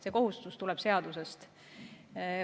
See kohustus tuleb seadusest.